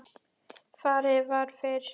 Farið var fyrir